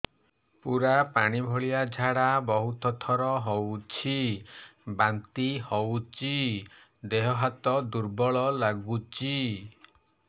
ପୁରା ପାଣି ଭଳିଆ ଝାଡା ବହୁତ ଥର ହଉଛି ବାନ୍ତି ହଉଚି ଦେହ ହାତ ଦୁର୍ବଳ ଲାଗୁଚି